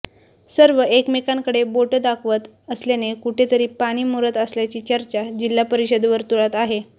सर्व एकामेकांकडे बोट दाखवत असल्याने कुठेतरी पाणी मुरत असल्याची चर्चा जिल्हा परिषद वर्तुळात आहे